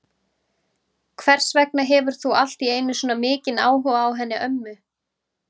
Hvers vegna hefur þú allt í einu svona mikinn áhuga á henni ömmu?